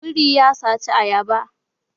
Biri ya saci ayaba